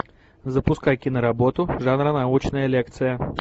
запускай киноработу жанра научная лекция